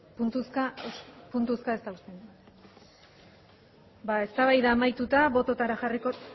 puntuzka ez da usten ba eztabaida amaituta bototara jarriko